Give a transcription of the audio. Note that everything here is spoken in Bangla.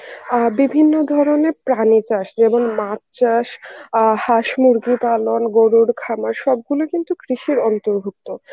অ্যাঁ বিভিন্ন ধরনের প্রাণী চাষ যেমন মাছ চাষ অ্যাঁ হাঁস-মুরগি পালন, গরুর খামার সবগুলোই কিন্তু কৃষির অন্তর্ভুক্ত.